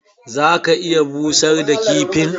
Za ka iya busar da kifin.